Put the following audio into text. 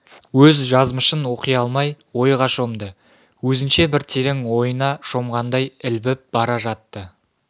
өз жазмышын оқи алмай ойға шомды өзінше бір терең ойына шомғандай ілбіп бара жатты